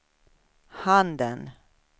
handen